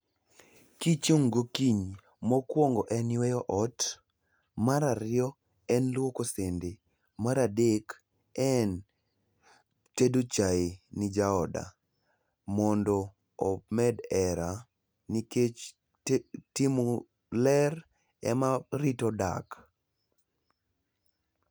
gichung' gokinyi mokuongo en yueyo ot mar ariyo en luoko sende mar adek en tedo chae ne jaoda mondo omed hera nikech timo ler ema rito dak